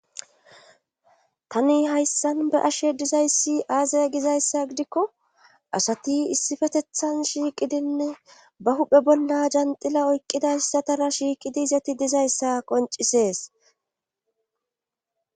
tani hayssan be ashe dizayssi aazaya gizayssa gidikko asati issifetethan shiiqidinne ba huphe bolla janxila oyqqidayssatara shiiqidi izati dizayssa qoncisees